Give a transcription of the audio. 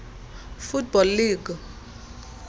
football league